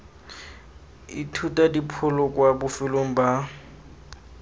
ithuta dipholo kwa bofelong ba